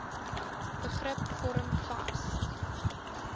begrip vorm vas